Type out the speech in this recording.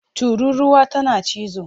Tururruwa tana cizo.